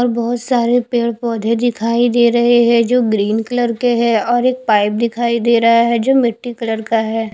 और बोहोत सारे पेड़ पोधे दिखाई दे रहे है जो ग्रीन कलर के है और एक पाइप दिखाई देरा है जो मिट्टी कलर का है।